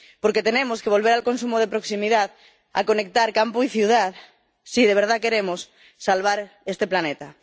porque tenemos que volver al consumo de proximidad, a conectar campo y ciudad si de verdad queremos salvar este planeta.